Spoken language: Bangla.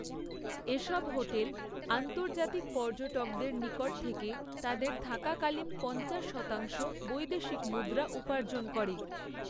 এসব হোটেল, আন্তর্জাতিক পর্যটকদের নিকট থেকে, তাদের থাকাকালীন পঞ্চাশ শতাংশ বৈদেশিক মুদ্রা উপার্জন করে।